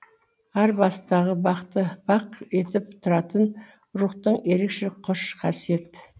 ар бастағы бақты бақ етіп тұратын рухтық ерекше қош қасиет